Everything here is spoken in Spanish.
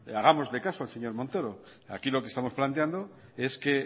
hagámosle caso al señor montoro aquí lo que estamos planteando es que